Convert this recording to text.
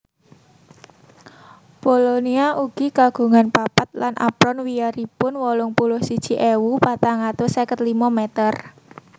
Polonia ugi kagungan papat lan apron wiyaripun wolung puluh siji ewu patang atus seket limo meter